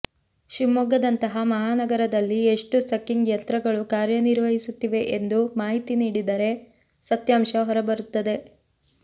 ಶಿವಮೊಗ್ಗದಂತಹ ಮಹಾ ನಗರದಲ್ಲಿ ಎಷ್ಟು ಸಕ್ಕಿಂಗ್ ಯಂತ್ರಗಳು ಕಾರ್ಯನಿರ್ವಹಿಸುತ್ತಿವೆ ಎಂದು ಮಾಹಿತಿ ನೀಡಿದರೆ ಸತ್ಯಾಂಶ ಹೊರಬರುತ್ತದೆ